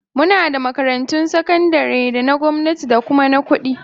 Muna da makarantun sakandare na gwamnati da kuma na kuɗi